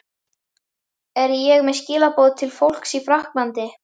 Er ég með skilaboð til fólks í Frakklandi?